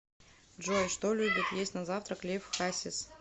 джой что любит есть на завтрак лев хасис